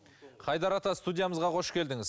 қайдар ата студиямызға қош келдіңіз